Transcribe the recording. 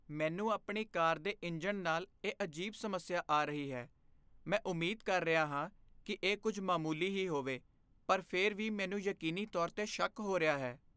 ਮੈਨੂੰ ਆਪਣੀ ਕਾਰ ਦੇ ਇੰਜਣ ਨਾਲ ਇਹ ਅਜੀਬ ਸਮੱਸਿਆ ਆ ਰਹੀ ਹੈ। ਮੈਂ ਉਮੀਦ ਕਰ ਰਿਹਾ ਹਾਂ ਕਿ ਇਹ ਕੁੱਝ ਮਾਮੂਲੀ ਹੀ ਹੋਵੇ, ਪਰ ਫਿਰ ਵੀ ਮੈਨੂੰ ਯਕੀਨੀ ਤੌਰ 'ਤੇ ਸ਼ੱਕ ਹੋ ਰਿਹਾ ਹੈ।